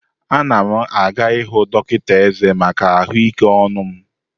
Anam aga ihụ dọkịta ezé maka ahụike ọnụ m.